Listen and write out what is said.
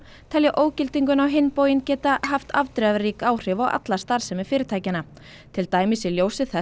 telja ógildinguna á hinn bóginn geta haft afdrifarík áhrif á alla starfsemi fyrirtækjanna til dæmis í ljósi þess